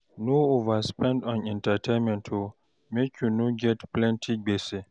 No overspend on entertainment o, make you no get plenty gbese.